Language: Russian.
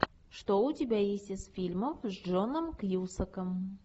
что у тебя есть из фильмов с джоном кьюсаком